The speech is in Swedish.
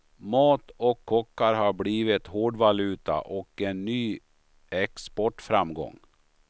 Mat och kockar har blivit hårdvaluta och en ny exportframgång.